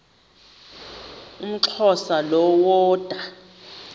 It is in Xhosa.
umxhosa lo woda